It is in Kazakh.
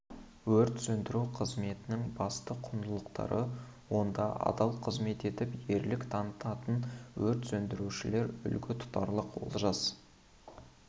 өрт сөндіру қызметінің басты құндылықтары онда адал қызмет етіп ерлік танытатын өрт сөндірушілер үлгі тұтарлық олжас